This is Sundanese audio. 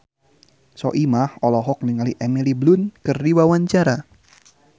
Soimah olohok ningali Emily Blunt keur diwawancara